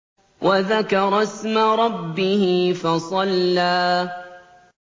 وَذَكَرَ اسْمَ رَبِّهِ فَصَلَّىٰ